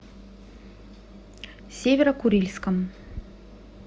северо курильском